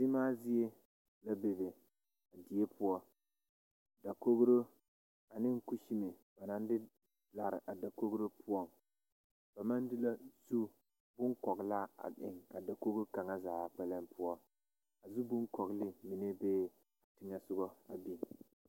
Zemaazie labe a die poɔ dakogro ane kusime ba naŋ de lare a dakogro poɔŋ ba maŋ de la zu boŋkɔgraa a eŋ a dakoge kaŋa zaa poɔ a zu beŋkɔglw mine bee teŋɛ a biŋ.